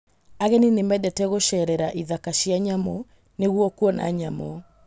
Ageni nĩ mendete gũceerera ithaka cia nyamũ nĩguo kuona nyamũ.